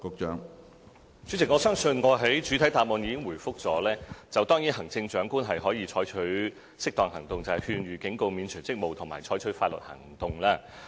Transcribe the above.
主席，我相信我在主體答覆中已作出回覆，行政長官可以採取適當行動，即勸諭、警告、免除職務及採取法律行動。